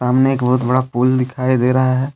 सामने एक बहुत बड़ा पुल दिखाई दे रहा है।